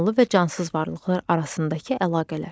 Canlı və cansız varlıqlar arasındakı əlaqələr.